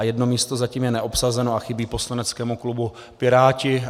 A jedno místo zatím je neobsazeno a chybí poslaneckému klubu Piráti.